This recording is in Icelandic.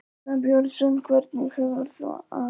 Arnar Björnsson hvernig hefur þú það?